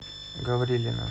гаврилина